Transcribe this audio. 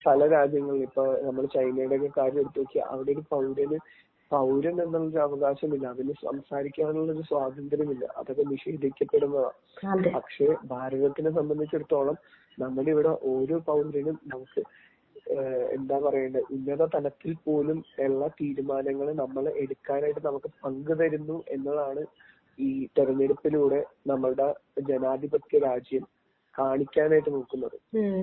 പല രാജ്യങ്ങളിലും ഇപ്പൊ നമ്മൾ ചൈനയുടെയൊക്കെ കാര്യം എടുത്തുവച്ചാൽ അവിടെ ഒരു പൗരന് പൗരൻ എന്ന അവകാശമില്ല. അവനു സംസാരിക്കാനുള്ളൊരു സ്വാതന്ത്ര്യം ഇല്ല. അതവനു നിഷേധിക്കപ്പെടുന്നതാ പക്ഷെ ഭാരതത്തിനേ സംബന്ധിച്ചിടത്തോളം നമുക്കിവിടെ ഓരോ പൗരനും എന്താപറയേണ്ടത് ഉന്നത തലത്തിൽ പോലും ഉള്ള തീരുമാനങ്ങൾ നമ്മൾ എടുക്കാനായിട്ട് നമുക്ക് പങ്കു തരുന്നു എന്നതാണ് ഈ തിരഞ്ഞെടുപ്പി ലൂടെ നമ്മളുടെ ജനാധിപത്യ രാജ്യം കാണിക്കാനായിട്ട് നിൽക്കുന്നത്.